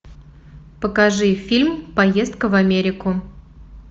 покажи фильм поездка в америку